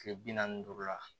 Kile bi naani ni duuru la